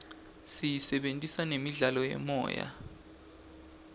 siyisebentisela nemidlalo yemoya